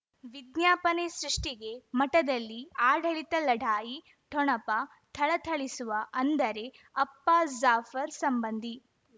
ವಿಜ್ಞಾಪನೆ ಸೃಷ್ಟಿಗೆ ಮಠದಲ್ಲಿ ಆಡಳಿತ ಲಢಾಯಿ ಠೊಣಪ ಥಳಥಳಿಸುವ ಅಂದರೆ ಅಪ್ಪ ಜಾಫರ್ ಸಂಬಂಧಿ